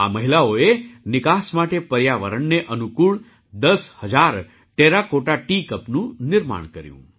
આ મહિલાઓએ નિકાસ માટે પર્યાવરણને અનુકૂળ દસ હજાર ટેરાકોટા ટી કપનું નિર્માણ કર્યું